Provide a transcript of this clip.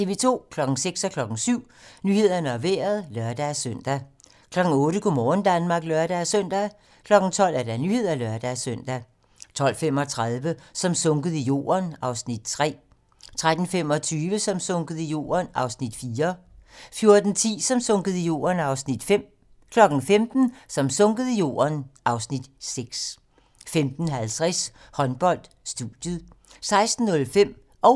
06:00: Nyhederne og Vejret (lør-søn) 07:00: Nyhederne og Vejret (lør-søn) 08:00: Go' morgen Danmark (lør-søn) 12:00: Nyhederne (lør-søn) 12:35: Som sunket i jorden (Afs. 3) 13:25: Som sunket i jorden (Afs. 4) 14:10: Som sunket i jorden (Afs. 5) 15:00: Som sunket i jorden (Afs. 6) 15:50: Håndbold: Studiet 16:05: Supermatchen